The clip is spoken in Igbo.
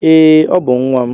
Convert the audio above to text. Ee, Ọ bú nwam